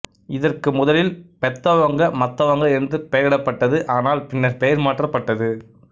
இதற்கு முதலில் பெத்தவங்க மத்தவங்க என்று பெயரிடப்பட்டது ஆனால் பின்னர் பெயர் மாற்றப்பட்டது